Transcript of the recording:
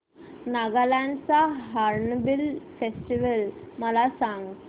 नागालँड चा hornbill festival मला सांग